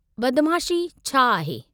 बदमाशी छा आहे?